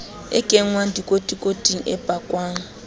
e kenngwang dikotikoting e pakwang